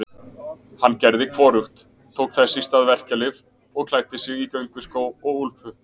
Hann gerði hvorugt, tók þess í stað verkjalyf og klæddi sig í gönguskó og úlpu.